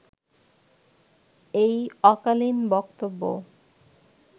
এই অকালীন বক্তব্য